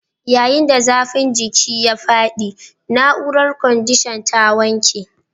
Yayin da zafin jiki ya faɗi, na'urar kwandishan ta wanke